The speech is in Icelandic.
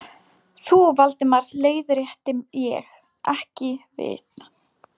Þú, Valdimar leiðrétti ég, ekki við.